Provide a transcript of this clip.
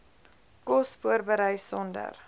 kos voorberei sonder